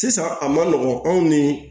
Sisan a ma nɔgɔn anw ni